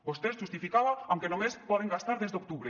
vostè es justificava amb que només poden gastar des d’octubre